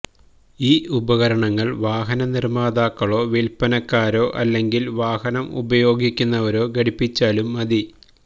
ഈ ഉപകരണങ്ങള് വാഹന നിര്മ്മാതാക്കളോ വില്പ്പനക്കാരോ അല്ലെങ്കില് വാഹനം ഉപയോഗിക്കുന്നവരോ ഘടിപ്പിച്ചാലും മതി